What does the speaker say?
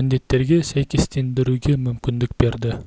міндеттерге сәйкестендіруге мүмкіндік берді